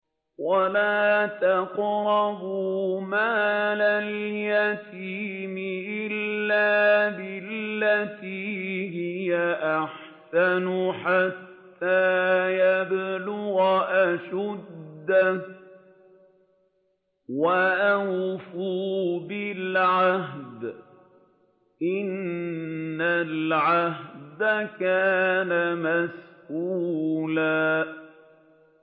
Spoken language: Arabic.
وَلَا تَقْرَبُوا مَالَ الْيَتِيمِ إِلَّا بِالَّتِي هِيَ أَحْسَنُ حَتَّىٰ يَبْلُغَ أَشُدَّهُ ۚ وَأَوْفُوا بِالْعَهْدِ ۖ إِنَّ الْعَهْدَ كَانَ مَسْئُولًا